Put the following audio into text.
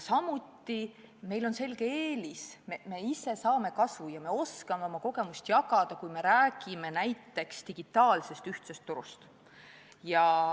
Samuti on meil selge eelis: me ise saame kasu ja me oskame oma kogemusi jagada, kui me räägime näiteks digitaalsest ühtsest turust.